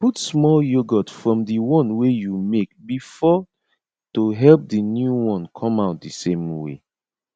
put small yoghurt from the one wey you make before to help the new one come out the same way